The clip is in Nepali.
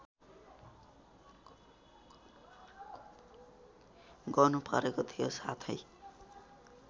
गर्नुपरेको थियो साथै